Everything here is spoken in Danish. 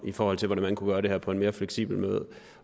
i forhold til hvordan man kunne gøre det her på en mere fleksibel måde